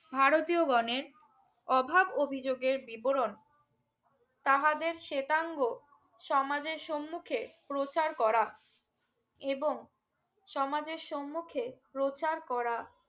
ভারতীয় গনের অভাব অভিযোগের বিবরণ তাহাদের শ্বেতাঙ্গ সমাজের সম্মুখে প্রচার করা এবং সমাজের সম্মুখে প্রচার করা